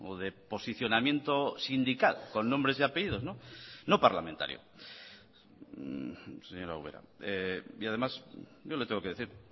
de posicionamiento sindical con nombres y apellidos no parlamentario señora ubera y además yo le tengo que decir